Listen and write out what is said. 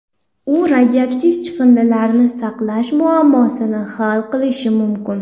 U radioaktiv chiqindilarni saqlash muammosini hal qilishi mumkin.